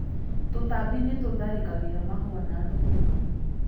Tũtambi nĩ tũtharĩkagĩra mahũa ma thũkũma.